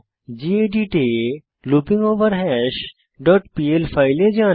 gedit এ লুপিঙ্গভারহাস dot PL এ যান